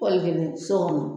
Wɔli geniso kɔnɔ